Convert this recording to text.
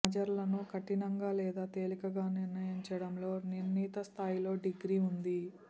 మజర్లను కఠినంగా లేదా తేలికగా నిర్ణయించడంలో నిర్ణీత స్థాయిలో డిగ్రీ ఉంది